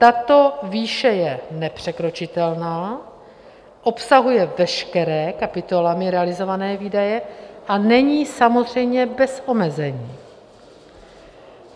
Tato výše je nepřekročitelná, obsahuje veškeré kapitolami realizované výdaje a není samozřejmě bez omezení.